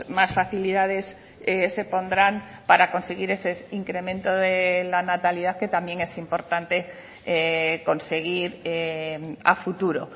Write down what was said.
más facilidades se pondrán para conseguir ese incremento de la natalidad que también es importante conseguir a futuro